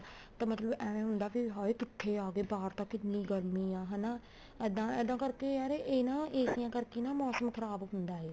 ਤਾਂ ਮਤਲਬ ਏਵੇਂ ਹੁੰਦਾ ਵੀ ਹਾਏ ਕਿੱਥੇ ਆ ਗਏ ਬਾਹਰ ਤਾਂ ਕਿੰਨੀ ਗਰਮੀ ਆ ਹਨਾ ਇੱਦਾਂ ਕਰਕੇ ਯਾਰ ਇਹਨਾ ਏਸੀਆਂ ਕਰਕੇ ਨਾ ਮੋਸਮ ਖਰਾਬ ਹੁੰਦਾ ਏ